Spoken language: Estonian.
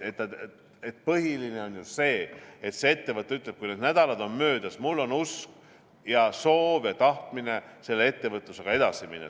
Põhiline on see, et see ettevõte ütleks, kui need nädalad on möödas, et tal on usk ja soov ja tahtmine ettevõtlusega edasi minna.